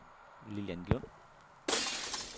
Lilian Lund